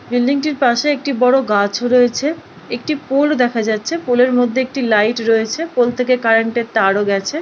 Building -টির পাশে একটি বড় গাছ রয়েছে। একটি পোল দেখা যাচ্ছে পোল -এর মধ্যে একটি লাইট রয়েছে পোল থেকে কারেন্ট -এর তারও গেছে ।